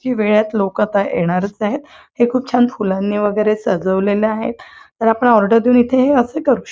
ही वेळेत लोक तर येणारच आहेत हे खूप छान फूलांनी वगैरे सजवलेले आहेत तर आपण ऑर्डर देऊन इथे हे असे करू शक--